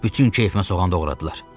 Bütün keyfimə soğan doğradılar.